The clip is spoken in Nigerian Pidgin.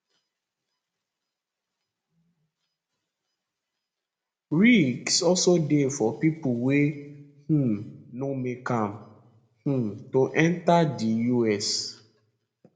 risks also dey for pipo wey um no make am um to enta di us